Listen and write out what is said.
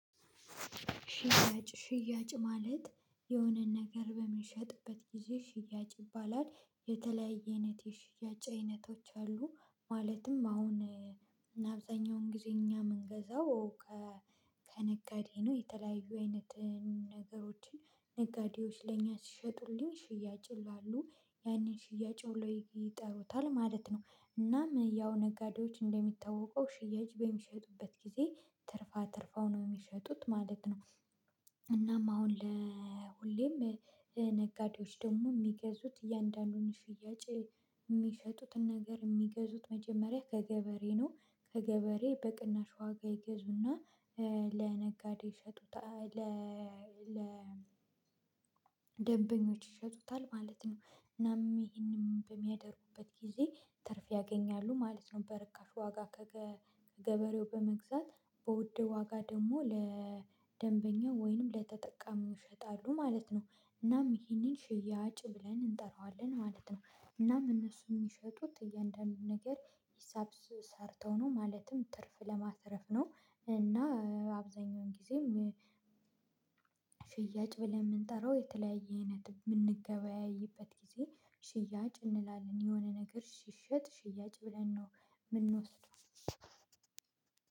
ሽያጭ ሽያጭ ማለት የሆነን ነገር በምንሸጥበት ጊዜ ሽያጭ ይባላል የተለያየ አይነት የሽያጭ አይነቶች አሉ። ማለትም አሁን አብዛኛውን ጊዜ እኛ የምንገዛው ከነጋዴ ነው። የተለያዩ አይነት ነገሮችን ነጋዴዎች ለእኛ ሲሸጡልኝ ሽያጭ ይላሉ ያንን ሽያጭ ብለው ይጠሩታል ማለት ነው። እናም ያው ነጋዴዎች እንደሚታወቀው ሽያጭ በሚሸጡበት ጊዜ ትርፍ አትርፈው ነው የሚሸጡት ማለት ነው። እናም አሁን ለሁሌም ነጋዴዎች ደግሞ የሚገዙት እያንዳንዱን ሽያጭ የሚሸጡትን ነገር የሚገዙት መጀመሪያ ከገበሬ ነው ከገበሬ በቅናሽ ዋጋ ይገዙና ለነጋዴ ይሸጡታል። ለ ለ ይሸጡታል ማለት ነው። እናም ይሄንም በሚያደርጉበት ጊዜ ትርፍ ያገኛሉ ማለት ነው። በርካሽ ዋጋ ከገ ገበሬው በመግዛት በውድ ዋጋ ደግሞ ለደንበኛው ወይንም ለተጠቃሚው ይሸጣሉ ማለት ነው። እናም ይሄንን ሽያጭ ብለን እንጠራዋለን ማለት ነው። እናም እነሱን የሚሸጡት እያንዳንዱን ነገር ሂሳብ ሰርተው ነው ማለትም ትርፍ ለማትረፍ ነው። እና አብዛኛውን ጊዜም ፍያጭ ብለን የምንጠራው የተለያየ አይነት የምንገበያይበት ጊዜ ሽያጭ እንላለን የሆነ ነገር ሲሽጥ ሽያጭ ብለን ነው። የምንወስደው